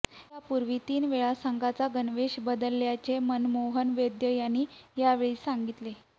यापूर्वी तीन वेळा संघाचा गणवेश बदलल्याचे मनमोहन वैद्य यांनी यावेळी सांगितले